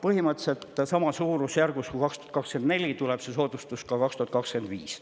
Põhimõtteliselt samas suurusjärgus kui aastal 2024 tuleb see soodustus ka 2025.